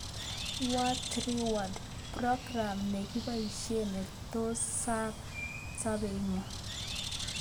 What3words: program ne kiboishe ne tos sar sabeetngung